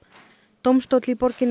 dómstóll í borginni